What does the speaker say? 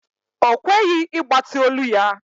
Ọ kweghị ịgbatị olu ya.